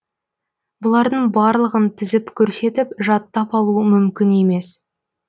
бұлардың барлығын тізіп көрсетіп жаттап алу мүмкін емес